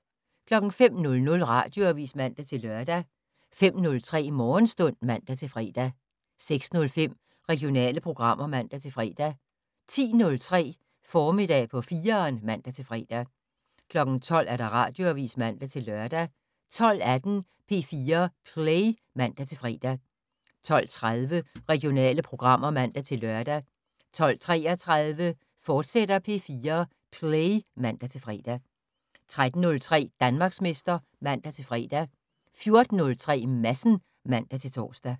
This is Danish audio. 05:00: Radioavis (man-lør) 05:03: Morgenstund (man-fre) 06:05: Regionale programmer (man-fre) 10:03: Formiddag på 4'eren (man-fre) 12:00: Radioavis (man-lør) 12:18: P4 Play (man-fre) 12:30: Regionale programmer (man-lør) 12:33: P4 Play, fortsat (man-fre) 13:03: Danmarksmester (man-fre) 14:03: Madsen (man-tor)